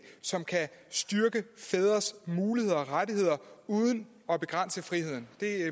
som kan styrke fædres muligheder og rettigheder uden at begrænse friheden det